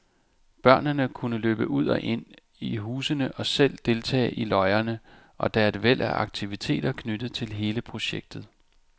Børnene kan løbe ud og ind i husene og selv deltage i løjerne, og der er et væld af aktiviteter knyttet til hele projektet.